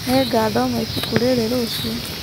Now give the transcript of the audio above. Nĩngathoma ibuku rĩrĩ rũciũ.